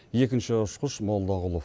екінші ұшқыш молдағұлов